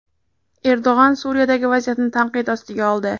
Erdo‘g‘on Suriyadagi vaziyatni tanqid ostiga oldi.